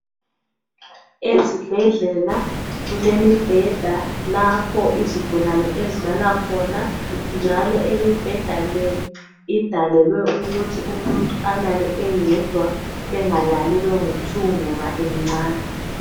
Ezibhedlela kulemibheda lapho izigulane ezilala khona njalo imibheda le idalelwe ukuthi umuntu alale eyedwa, bengalali bengu"2" ngoba imncane.